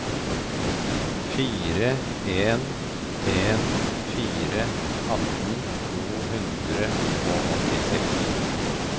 fire en en fire atten to hundre og åttiseks